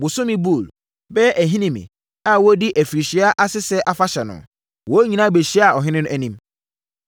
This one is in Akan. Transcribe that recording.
Bosome Bul (bɛyɛ Ahinime) a wɔredi afirinhyia Asese Afahyɛ no, wɔn nyinaa bɛhyiaa ɔhene anim.